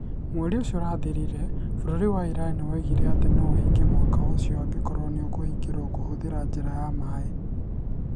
Mweri ũcio ũrathirire, bũrũri wa Iran nĩ woigire atĩ no ũhingie Mũhaka ũcio angĩkorũo nĩ ũkũgirio kũhũthĩra njĩra ĩyo ya maĩ"